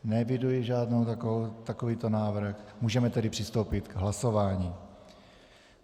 Neeviduji žádný takovýto návrh, můžeme tedy přistoupit k hlasování.